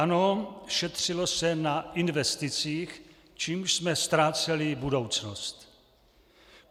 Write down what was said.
Ano, šetřilo se na investicích, čímž jsme ztráceli budoucnost.